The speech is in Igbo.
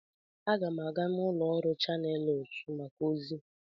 Aga m aga n'ụlọ ọrụ Chanelụs maka ozi.